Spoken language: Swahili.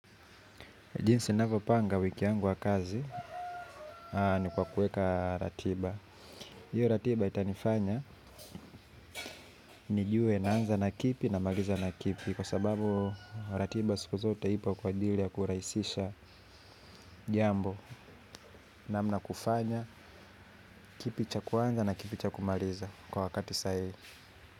Jinsi ninavyopanga wiki yangu ya kazi ni kwa kuweka ratiba. Hiyo ratiba itanifanya, nijue naanza na kipi namaliza na kipi? Kwa sababu ratiba siku zote ipo kwa ajili ya kurahisisha jambo namna ya kufanya, kipi cha kuanza na kipi cha kumaliza kwa wakati sahihi.